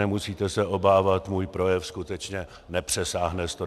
Nemusíte se obávat, můj projev skutečně nepřesáhne 120 minut.